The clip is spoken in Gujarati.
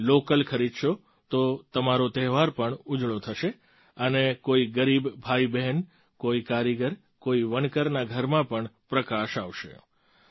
તમે લૉકલ ખરીદશો તો તમારો તહેવાર પણ ઉજળો થશે અને કોઈ ગરીબ ભાઈબહેન કોઈ કારીગર કોઈ વણકરના ઘરમાં પણ પ્રકાશ આવશે